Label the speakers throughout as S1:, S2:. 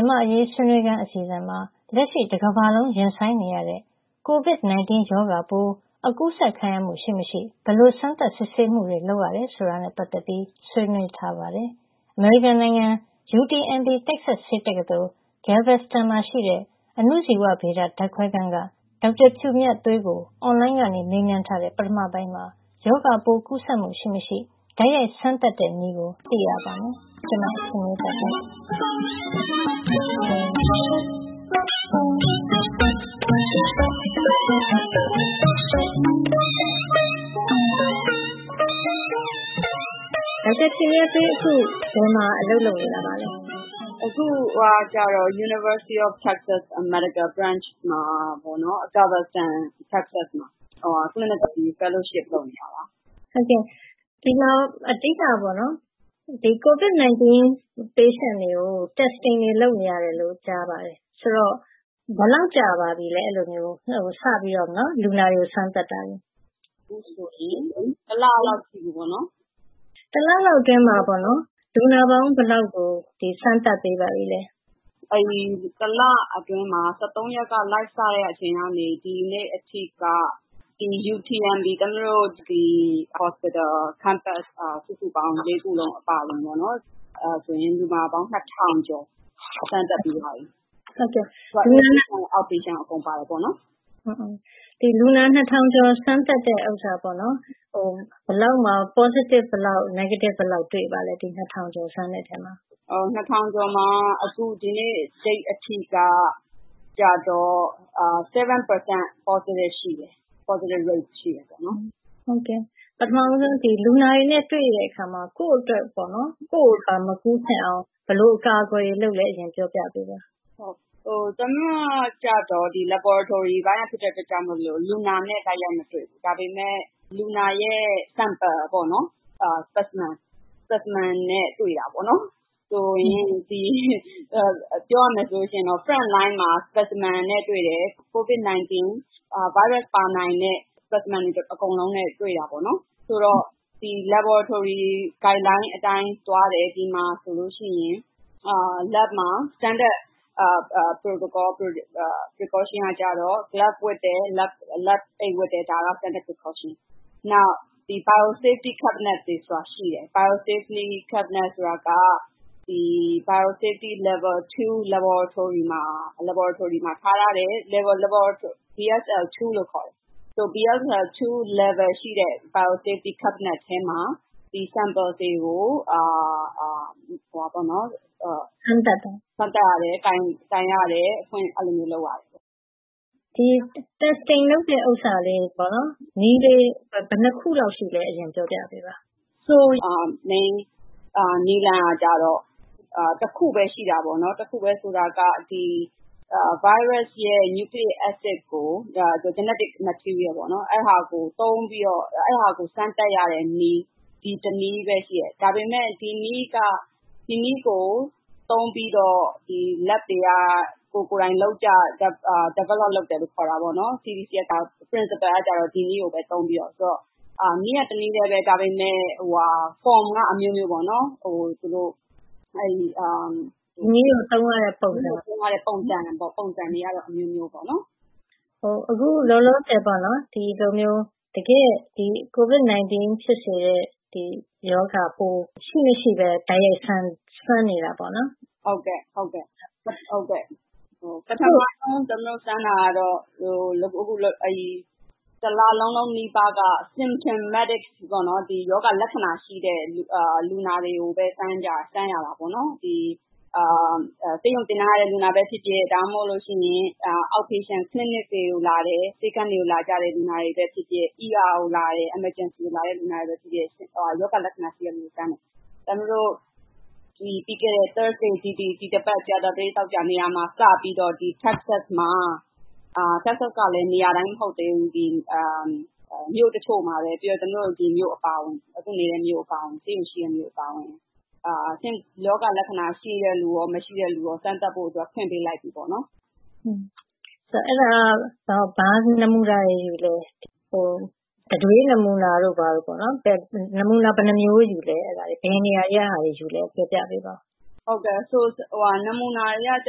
S1: န်မာ့အရေး ဆွေးနွေးခန်း အစီအစဉ်မှာ လက်ရှိတကမ္ဘာလုံး ရင်ဆိုင်နေရတဲ့ Covid 19 ရောဂါပိုး အကူးစက်ခံရမှု ရှိမရှိ ဘယ်လို စမ်းသပ်စစ်ဆေးမှုတွေ လုပ်ရတယ် ဆိုတာနဲ့ ပတ်သက်ပြီး ဆွေးနွေးထားပါတယ်။ အမေရိကန်နိုင်ငံ UTMB တက်ဆက်စ် ဆေးတက္ကသိုလ် Galveston မှာရှိတဲ့ အဏုဇီဝဗေဒ ဓါတ်ခွဲခန်းက ဒေါက်တာဖြူမြတ်သွေးကို အွန်လိုင်းကနေ မေးမြန်းထားတဲ့ ပထမပိုင်းမှာ ရောဂါပိုးကူးစက်မှုရှိမရှိ တိုက်ရိုက်စမ်းသပ်တဲ့နည်းကို သိရပါမယ်။ ဒေါက်တာဖြူမြတ်သွေး အခု ဘယ်မှာအလုပ်လုပ်နေပါလဲ။ အခုကတော့
S2: Galveston မြို့မှာရှိတဲ့ University of Texas Medical Branch ဆေးတက္ကသိုလ်မှာ Clinical fellowship လုပ်နေတာပါ
S1: ။ ဒီမှာ COVID-19 လူနာတွေကို စမ်းသပ်မှုတွေ လုပ်နေရတယ်လို့ ကြားသိရပါတယ်။ ဆိုတော့ အဲဒီလိုလုပ်နေတာ ဘယ်လောက်ကြာပါပြီလဲ။ လူနာတွေကို စတင်စမ်းသပ်နေတာတ
S2: ွေ။ အခုဆိုရင် တစ်လလောက် ရှိပါပြီ
S1: ။ တစ်လလောက်အတွင်းမှာ လူနာပေါင်း ဘယ်လောက်လောက်ကို စမ်းသပ်ပြီးပါပြီလဲ။
S2: တစ်လအတွင်းမှာ ရက်ကနေ စတင် Live စမ်းသပ်ချိန်ကနေ ဒီနေ့အထိက UMTB သမီးတို့ တက္ကသိုလ်ဆေးရုံမှာ စုစုပေါင်း ခုလုံးအပါအဝင် လူနာပေါင်း ကျော် စမ်းသပ်ပြီးသွားပြီ။
S1: Out-patients and In-patients အားလုံးပါပါတယ်။ လူနာ ကျော် စမ်းသပ်တဲ့အခါမှာ ဘယ်လောက်မှာ Positive Negative တွေ့ပါသလဲ။ ကျော်မှာ
S2: ဒီနေ့အထိက ရာခိုင်နှုန်း ရောဂါရှိတယ်။ ပ
S1: ထမဦးဆုံး လူနာတွေနဲ့ တွေ့တဲ့အခါမှာ ကိုယ့်အတွက် ကိုယ့်ကိုယ်မကူးနိုင်အောင် ဘယ်လိုအကာအကွယ်တွေလုပ်လဲ။ ပြောပြပေးပါ
S2: ။ သမီးတို့က Laboratory စမ်းသပ်ဓါတ်ခွဲခန်းပိုင်းကဖြစ်တော့ လူနာနဲ့ တိုက်ရိုက်မတွေ့ဘူး။ ဒါပေမဲ့ လူနာရဲ့ ဓာတ်ခွဲစစ်ဆေးရန်နမူနာ နဲ့ ထိတွေ့ရတယ်။ ပြောရမယ်ဆိုရင် Frontline မှာ specimen နဲ့ တွေ့တယ်။ COVID-19 ဗိုင်းရပ်စ် ပါနိုင်တဲ့ specimen တွေကို ထိတွေ့ရတယ်။ ဆိုတော့ Laboratory Guideline လိုက်နာရမယ့် ဓါတ်ခွဲခန်းလမ်းညွှန်အတိုင်း လုပ်ကိုင်ကြတယ်။ ဓါတ်ခွဲခန်းမှာဆိုရင် Standard Protocols လုပ်ရမယ့်နည်းလမ်းအတိုင်း လက်အိတ်ဝတ်ရတယ်။ နောက် Biosafety Cabinet တွေဆိုတာရှိတယ်။ အဲဒါတွေက Biosafety Level Laboratory ဓါတ်ခွဲခန်းအဆင့်နှစ်မှာ ထားရှိတဲ့ Biosafety Cabinet ထဲမှာ နမူနာတွေကို စမ်းသပ်ရတယ်။ ကိုင်တွယ်ရတယ်။
S1: ကြည့်ရှုရတယ်။ Testing စမ်းသပ်မှုလုပ်တဲ့ နည်းတွေ ဘယ်နှစ်ခုလောက်ရှိလဲ။ အရင်ပြောပြပေးပါ။
S2: နည်းလမ်းကတော့ တစ်ခုပဲ ရှိပါတယ်။ တစ်ခုက ဗိုင်းရပ်စ်ရဲ့ သက်ရှိကလာပ်စည်းအက်စစ် ကို မျိုးရိုးဗီဇနှင့်ဆိုင်ရာ ကို သုံးပြီးတော့ စမ်းသပ်ရတဲ့နည်း။ ဒီတနည်းပဲရှိတယ်။ ဒါပေမဲ့ ဒီနည်းကိုသုံးပြီးတော့ ဓါတ်ခွဲခန်းတွေက ကိုယ်ကိုယ်တိုင် စမ်းသပ်ထုတ်ဖော်ကြတယ်။ အဓိကတော့ ဒီနည်းကိုပဲ သုံးပြီးတော့ - နည်းကတော့ တနည်းပဲ - ဒါပေမဲ့ ပုံစံ က အမျိုးမျိုးရှိတယ်။
S1: နည်းကိုသုံးရတဲ့ပုံစံတွ
S2: ေကတော့ အမျိုးမျိုးရှိပ
S1: ါတယ်။ အခုလောလောဆယ် ဒီလိုမျိုး တကယ့် COVID-19 ဖြစ်စေတဲ့ ရောဂါပိုး ရှိမရှိဘဲ၊ တိုက်ရိုက်စမ်းနေတာပေါ့။ ပထမဦး
S2: ဆုံး စမ်းသပ်တာကတော့ တစ်လလုံးလုံးနီးပါးက symptomatic ရောဂါလက္ခဏာရှိတဲ့ လူနာတွေကိုပဲ စမ်းခဲ့ကြတယ်။ ဆေးရုံတင်ထားတဲ့ လူနာပဲဖြစ်ဖြစ်၊ ဒါမှမဟုတ် Out-patient ပြင်ပလူနာ ဆေးခန်းတွေကိုလာကြတဲ့ လူနာတွေဖြစ်ဖြစ်၊ အရေးပေါ် ကို ရောက်လာတဲ့ လူနာတွေဖြစ်ဖြစ် ရောဂါလက္ခဏာရှိတဲ့ လူနာတွေဆိုရင် - သမီးတို့ ပြီးခဲ့တဲ့ ကြာသပတေး၊ သောကြာနေ့ကမှ စပြီးတော့ တက္ကဆက်ပြည်နယ်မှာ - နေရာတိုင်းတော့ မဟုတ်သေးဘူး၊ မြို့တချို့နဲ့ ဒီမြို့အပါအဝင် ရောဂါလက္ခဏာရှိတဲ့ လူနာနဲ့ မရှိတဲ့လူတွေကို စမ်းသပ်ဖို့ ဖွင့်ပေးလိုက်ပြီ။
S1: အဲဒါက ဘယ်လိုနမူနာတွေ ယူသလဲ။ တံတွေးနမူနာတို့ ။ နမူနာ ဘယ်နှစ်မျိုးယူလဲ။ ဘယ်နေရာတွေကယူလဲ။ ပြောပြပေးပါ
S2: ။ နမူနာတွေက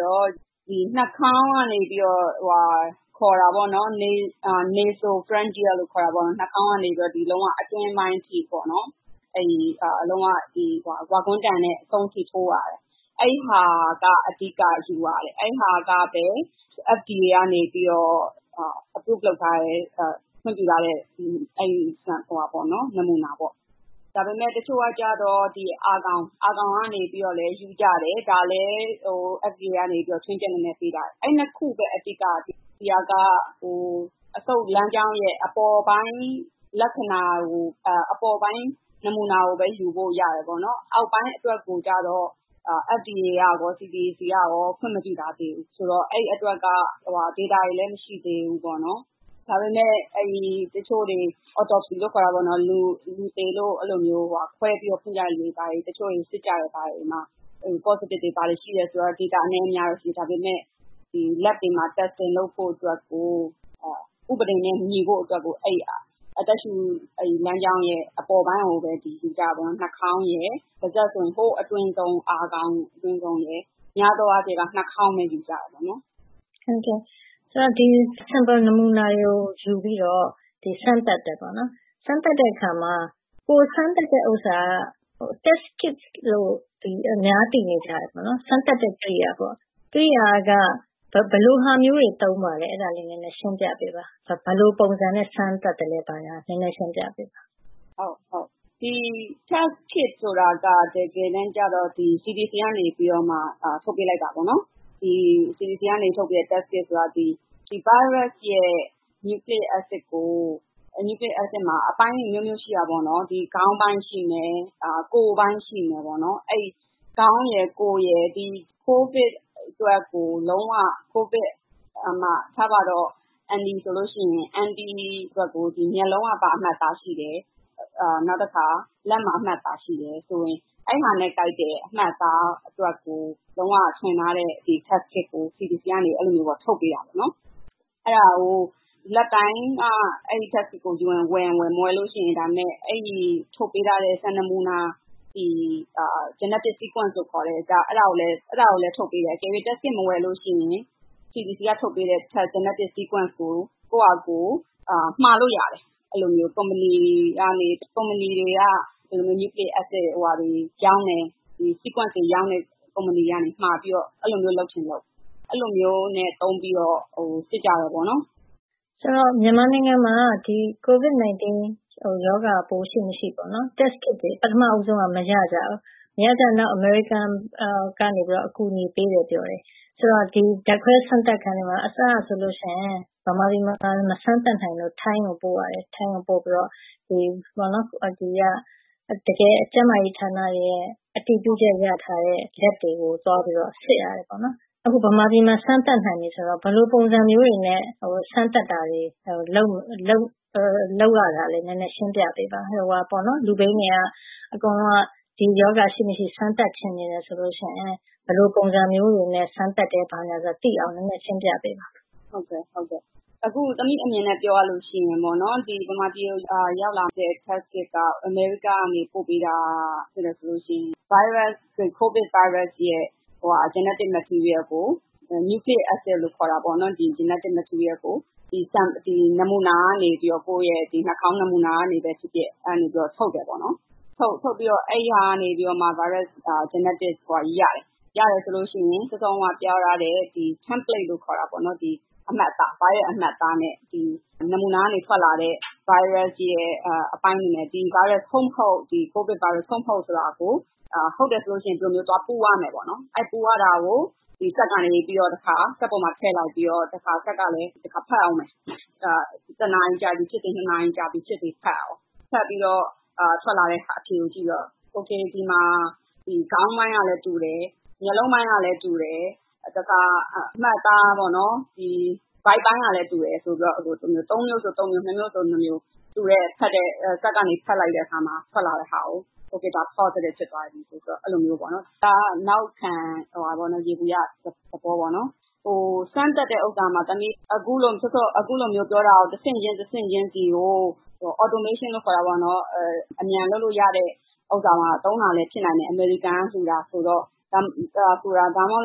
S2: တော့ nasopharyngeal ခေါ်တဲ့ နှာခေါင်းကနေ အတွင်းပိုင်းအထိ ဝါဂွမ်းတံ နဲ့ ကြိမ်ထိုးရတယ်။ အဲဒါက အဓိကယူရတယ်။ အဲဒါကိုပဲ FDA ကနေ အတည်ပြုထောက်ခံထားတဲ့ ခွင့်ပြုထားတဲ့ နမူနာ။ ဒါပေမဲ့ တချို့ကြတော့ အာခေါင်းကနေပြီးတော့လည်း ယူကြတယ်။ ဒါကိုလဲ FDA ကနေ ချွင်းချက်အနေနဲ့ ပေးထားတယ်။ အဲဒီနှစ်ခု အဓိကက ဒီဟာက အဆုပ်လမ်းကြောင်းရဲ့ အပေါ်ပိုင်းလက္ခဏာ နမူနာကိုပဲ ယူလို့ရတယ်။ အောက်ပိုင်းအတွက်ကိုတော့ FDA နဲ့ CDC တို့က ခွင့်မပြုထားသေးဘူး။ ဆိုတော့ အဲဒီအတွက်က Data အချက်အလက်တွေလည်း မရှိသေးဘူး။ ဒါပေမဲ့ တချို့တွေ autopsy လူသေကို ခွဲပြီးတော့ စစ်ကြတာတွေမှာ Data အနည်းအများ ရှိကြပေမယ့် ဓါတ်ခွဲခန်းတွေမှာတော့ စမ်းသပ်ဖို့အတွက်ကို ဥပဒေနဲ့အညီ အသက်ရှုလမ်းကြောင်း အပေါ်ပိုင်းကိုပဲ ယူကြတယ်။ နှာခေါင်း၊ ပါးစပ်တို့ အတွင်းပိုင်းအာခေါင်းနဲ့ များသောအားဖြင့် နှာခေါင်းအတွင်းပိုင်းကပဲ ယူကြတယ်
S1: ။ ဒီနမူနာတွေကိုယူပြီးတော့ စမ်းသပ်တယ်။ စမ်းသပ်တဲ့အခါမှာ ကိုယ်စမ်းသပ်တဲ့ဟာက test-kit လို့ အများသိနေကြတဲ့ စမ်းသပ်တဲ့ကရိယာက ဘယ်လိုဟာမျိုးတွေမှာ သုံးပါလဲ။ အဲဒါလေးကို နည်းနည်းရှင်းပြပေးပါ။ ဘယ်လိုပုံစံနဲ့ စမ်းသပ်သလဲဆိုတာကို နည်းနည်းရှင်းပြပေးပါ
S2: ။ Test-kit ဆိုတာက တကယ်တမ်းကြတော့ CDC ကနေ ထုတ်ပေးလိုက်တာပါ။ ဗိုင်းရပ်စ်က nucleic acid ကို အဲဒီမှာအပိုင်းတွေ အမျိုးမျိုးရှိတယ် - ခေါင်းပိုင်း၊ ကိုယ်ပိုင်း - အဲဒီခေါင်း၊ ကိုယ်ပိုင်းတွေကို ကိုဗစ်အတွက်ကို - ဥပမာ အန်တီအတွက်ဆိုရင် မျက်လုံးက ဘာအမှတ်အသားရှိလဲ။ လက်မှာ အမှတ်အသားရှိတယ်ဆိုရင် အဲဒါနဲ့ကိုက်တဲ့ အမှတ်အသားအတွက်ကို လုံးဝထွင်ထားတဲ့ Test-kit ကို CDC က ထုတ်ပေးတာ။ အဲဒါ Lab တိုင်းက အဲဒီ Test-kit ကို ဝယ်ချင်ဝယ်၊ မဝယ်လို့ရှိရင် ထုတ်ပေးထားတဲ့ စံနမူနာ genetic sequence ကိုလည်း ထုတ်ပေးတယ်။ အကယ်၍ Test-kit မဝယ်လို့ရှိရင် CDD က ထုတ်ပေးတဲ့ genetic sequence ကို ကိုယ့်ဟာကိုယ် မှာလို့ရတယ်။ ကုမ္ပဏီတွေက nucleic acid တွေ ရောင်းတယ်။ genetic sequence တွေ ရောင်းတယ်။ အဲဒီလိုလုပ်ချင်လုပ်။ အဲဒီလိုမျိုးနဲ့ စစ်ကြတယ်။ ဆိုတ
S1: ော့ မြန်မာနိုင်ငံမှာ COVID-19 ရောဂါပိုး ရှိမရှိ Test-kit တွေ အစောပိုင်းက မရကြဘူး။ နောက်ပိုင်းတော့ အမေရိကန်နိုင်ငံက အကူအညီပေးတယ် ပြောတယ်။ ဆိုတော့ ဓါတ်ခွဲစမ်းသပ်ခန်းထဲမှာ အစပိုင်းမှာ မြန်မာနိုင်ငံမှာ မစမ်းသပ်နိုင်လို့ ထိုင်းကိုပို့ရတယ်။ တကယ် ကျန်းမာရေးဌာနတွေရဲ့ အတည်ပြုချက်ရယူထားတဲ့ ဓါတ်ခွဲခန်းတွေကို သွားစစ်ရတယ်။ အခု မြန်မာပြည်မှာ စမ်းသပ်နိုင်ပြီဆိုတော့ ဘယ်လိုပုံစံမျိုးတွေနဲ့ စမ်းသပ်တာတွေ လုပ်ရလဲ။ နည်းနည်းရှင်းပြပေးပါ။ လူတွေက ဒီရောဂါရှိမရှိ စမ်းသပ်ချင်တယ်ဆိုရင် ဘယ်လိုပုံစံမျိုးတွေနဲ့ စမ်းသပ်တယ်။ ဘာညာဆိုတာ သိရအောင် နည်းနည်းရှင်းပြပေးပါ။
S2: သမီးအမြင်နဲ့ ပြောရမယ်ဆိုရင် မြန်မာပြည်ကို ရောက်နေတဲ့ Test-kit က အမေရိကက ပို့ပေးတယ်ဆိုရင် ကိုဗစ်ဗိုင်းရပ်စ်ရဲ့ genetic material - nucleic acid ကို နှာခေါင်းနမူနာကနေ ထုတ်ယူတယ်။ ထုတ်ပြီးတော့မှ genetic ဗိုင်းရပ်စ်ကို ရတယ်။ ရတယ်ဆိုရင် စောစောတုန်းက ပြောထားတဲ့ Template လို့ခေါ်တဲ့ ဗိုင်းရပ်အမှတ်အသားစာရင်းနဲ့ နမူနာကထွက်လာတဲ့ ဗိုင်းရပ်စ်အပိုင်းတွေနဲ့ ကိုဗစ်ဗိုင်းရပ်စ် ဟုတ်မဟုတ်ကို စစ်ရတယ်။ ဟုတ်တယ်ဆိုရင် အဲဒီမှာ ပူးသွားတယ်။ အဲဒီအခါ စက်ထဲမှာထည့်ပြီးတော့ စက်ကတစ်ခါ ဖတ်အုံးမယ်။ တစ်နာရီ၊ နှစ်နာရီဖတ်ပြီးတော့ ထွက်လာတဲ့အဖြေကိုကြည့်ပြီးတော့ အဲဒီမှာ ခေါင်းပိုင်းကလည်းတူတယ်၊ မျက်လုံးပိုင်းကလည်းတူတယ်။ အမှတ်အသား ဗိုက်ပိုင်းကလည်း တူတယ်ဆိုပြီးတော့ သုံးမျိုး၊ နှစ်မျိုး စက်ကဖတ်ပြီး ထွက်လာတဲ့ဟာကို ဒါက Positive ဖြစ်သွားပြီဆိုပြီး သတ်မှတ်ကြတယ်။ ဒါက နောက်ခံ ယေဘုယျသဘော။ စမ်းသပ်တဲ့ဟာကို တဆင့်ချင်းတဆင့်ချင်းဆီကို automation အမြန်လုပ်လို့ရတဲ့ဟာမှာလည်း သုံးတာလည်း ဖြစ်နိုင်တယ်။ အမေရိကန်က လှုတယ်ဆိုတော့။ ဒါမှမဟုတ်ရင် အမေ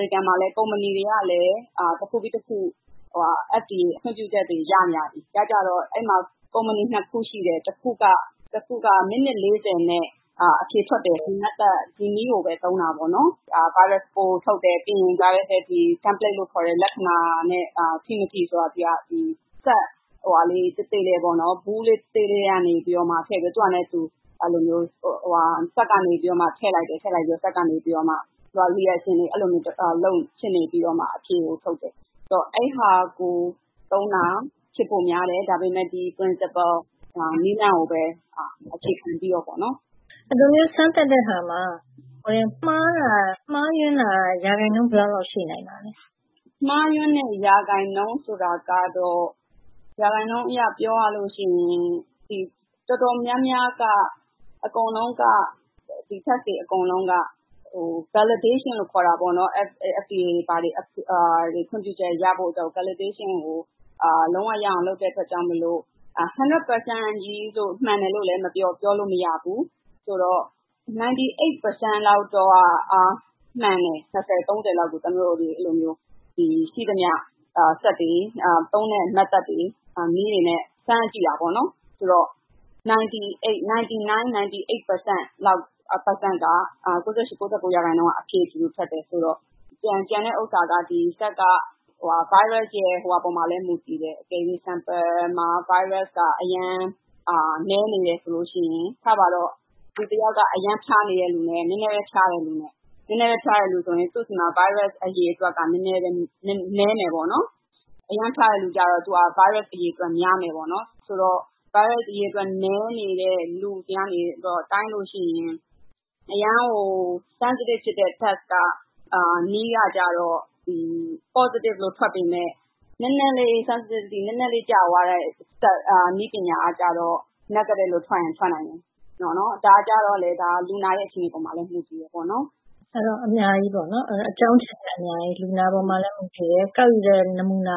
S2: ရိကန်မှာလည်း ကုမ္ပဏီတွေက တစ်ခုပြီးတစ်ခု FDA ခွင့်ပြုချက်တွေကို ရကြပြီ။ ရကြတော့ အဲဒီမှာ ကုမ္ပဏီ ခု ရှိတယ်။ တစ်ခုက မိနစ် နဲ့ အဖြေထွက်တယ်။ ဒီနည်းကိုပဲ သုံးကြတယ်။ ဗိုင်းရပ်စ်ပိုးထုတ်တယ်။ ပြီးနောက် Template ပေါ်မှာ ဗိုင်းရပ်စ်ပိုးလက္ခဏာနဲ့ ထိမထိဆိုတာကို စက်သေးသေးလေးထဲ ထည့်လိုက်ပြီး အဆင့်ဆင့်စစ်ဆေးပြီးမှ အဖြေကိုထုတ်ပေးတယ်။ အဲဒါကို သုံးတာ ဖြစ်ဖို့များတယ်။ ဒါပေမဲ့ Principle နည်းလမ်းကိုပဲ အခြေခံပြီး လုပ်က
S1: ြတယ်။ ဒီလိုမျိုး စမ်းသပ်တဲ့အခါမှာ မှားယွင်းတာ ရာခိုင်နှုန်း ဘယ်လောက်လောက် ရှိနိုင်ပါလဲ
S2: ။ မှားယွင်းတဲ့ ရာခိုင်နှုန်းဆိုတာကတော့ ရာခိုင်နှုန်းအရ ပြောရလို့ရှိရင် တော်တော်များများက test တွေ အကုန်လုံးက validation တရားဝင်ဖြစ်အောင် FDA တို့ ခွင့်ပြုချက်ရအောင် လုံးဝရအောင် လုပ်ရတဲ့အတွက်ကြောင့်မို့ တစ်ရာရာခိုင်နှုန်း မှန်တယ်လို့လဲ ပြောလို့မရဘူးဆိုတော့ ရာခိုင်နှုန်းလောက်တော့ မှန်တယ်။ နှစ်ဆယ်၊ သုံးဆယ်လောက်ကို ရှိသမျှစက်တွေ၊ သုံးတဲ့နည်းတွေနဲ့ စမ်းကြည့်တယ်။ အဲဒီမှာ ရာခိုင်နှုန်းလောက်က အဖြေအတူတူထွက်တယ်ဆိုတော့ ကျန်တဲ့ဟာကတော့ စက်က ဗိုင်းရပ်စ်ရဲ့ နမူနာက နည်းနေတယ်ဆိုရင် - ဥပမာ လူတစ်ယောက်က အရမ်းဖျားနေတဲ့လူနဲ့ နည်းနည်းဖျားနေတဲ့လူနဲ့ - နည်းနည်းဖျားတဲ့လူဆိုရင် သူ့ဆီမှာ ဗိုင်းရပ်စ်အရေအတွက်ကနည်းမယ်။ အရမ်းဖျားတယ်လူကတော့ ဗိုင်းရပ်စ်အရေအတွက် များမယ်။ ဆိုတော့ ဗိုင်းရပ်စ်အရေအတွက် နည်းနေတဲ့လူဆီကနေ တိုင်းလို့ရှိရင် အရမ်းကို sensitive ဖြစ်တဲ့ Test နည်းက Positive ထွက်ပြီးတော့၊ နည်းနည်းလေးကြာသွားတဲ့ နည်းပညာကတော့ Negative လို့ ထွက်ရင်ထွက်နိုင်တယ်။ ဒါကတော့ လူနာရဲ့ အခြေအနေပေါ်မှာလည်း မူတည်ပါတယ်
S1: ။ အကြောင်းအချက်တွေက အများကြီးပေါ့။ လူနာပေါ်မှာလည်း မူတည်တယ်၊ ကောက်ယူတဲ့ နမူနာ